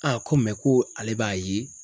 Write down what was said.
ko ko ale b'a ye